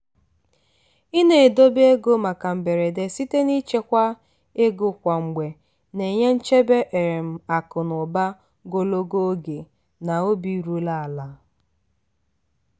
i na-edebe ego maka mberede site n'ịchekwa ego kwa mgbe na-enye nchebe um akụ na ụba gologo oge na obi ruru ala.